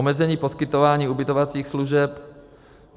omezení poskytování ubytovacích služeb,